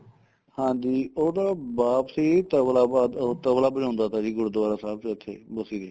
ਹਾਂਜੀ ਉਹ ਤਾਂ ਵਾਪਸੀ ਤਬਲਾ ਬਾਦ ਉਹ ਤਬਲਾ ਵਜਾਉਂਦਾ ਤਾ ਜੀ ਗੁਰਦੁਆਰਾ ਸਾਹਿਬ ਚ ਉੱਥੇ ਬਸੀ ਦੇ